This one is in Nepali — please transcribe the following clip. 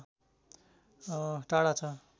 टाढा छ